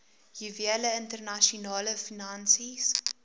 juwele internasionale finansies